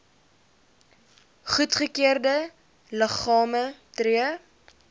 goedgekeurde liggame tree